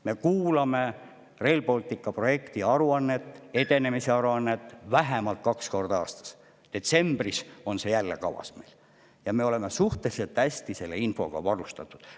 Me kuulame Rail Balticu projekti edenemise aruannet vähemalt kaks korda aastas – detsembris on see meil jälle kavas – ja me oleme suhteliselt hästi selle infoga varustatud.